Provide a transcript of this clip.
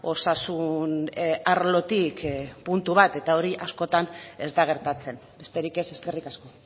osasun arlotik puntu bat eta hori askotan ez da gertatzen besterik ez eskerrik asko